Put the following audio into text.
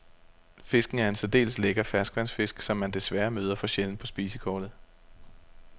Fisken er en særdeles lækker ferskvandsfisk, som man desværre møder for sjældent på spisekortet.